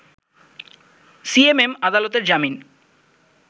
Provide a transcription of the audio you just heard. CMM আদালতের জামিন